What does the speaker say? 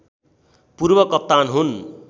पूर्व कप्तान हुन्